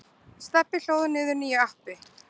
Stebbi hlóð niður nýju appi.